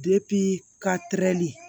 ka terili